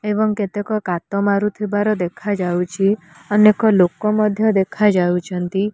ଏବଂ କେତେକ କାତ ମାରୁଥିବାର ଦେଖାଯାଉଛି ଅନେକ ଲୋକ ମଧ୍ୟ ଦେଖାଯାଉଚନ୍ତି।